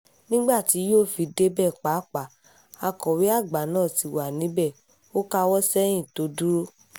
nígbà tí yóò fi débẹ̀ pàápàá akọ̀wé àgbà náà ti wà níbẹ̀ ò káwọ́ sẹ́yìn tó dúró